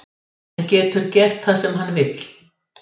Hann getur gert það sem hann vill.